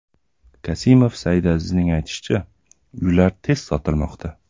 Kasimov Saidazizning aytishicha, uylar tez sotilmoqda.